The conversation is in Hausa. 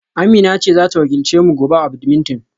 Amina ce za ta wakilce mu gobe a wasan badminton?